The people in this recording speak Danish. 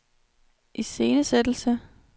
iscenesættelse